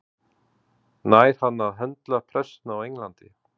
Nær hann að höndla pressuna á Englandi?